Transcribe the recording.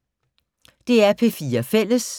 DR P4 Fælles